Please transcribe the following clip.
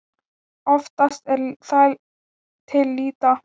Oftast er það til lýta.